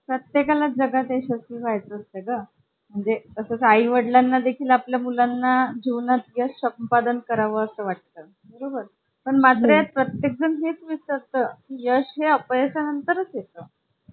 ज्यामुळे आपण अगदी सहज पण इंटरनेट वापरू शकतो आणि एका device मधून दुसऱ्या device मध्ये सुद्धा फाइल पाठवू शकतो. even वीजबिलाचही म्हटलं तरी desktop च्या तुलनेने laptop मध्ये low power लागतील.